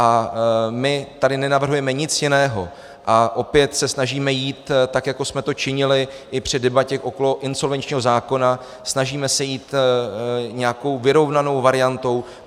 A my tady nenavrhujeme nic jiného a opět se snažíme jít, tak jako jsme to činili i při debatě okolo insolvenčního zákona, snažíme se jít nějakou vyrovnanou variantou.